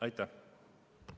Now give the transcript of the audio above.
Aitäh!